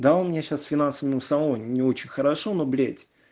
да у меня сейчас финансами у самого не очень хорошо но блять